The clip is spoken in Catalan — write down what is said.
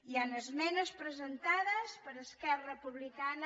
hi han esmenes presentades per esquerra republicana